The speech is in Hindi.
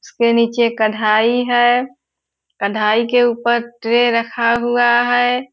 उसके नीचे कढ़ाई है कढ़ाई के उपर ट्रे रखा हुआ है।